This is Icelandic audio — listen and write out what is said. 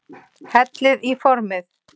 Hellið í formið.